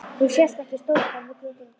Því sést ekki stórbær með götur og torg?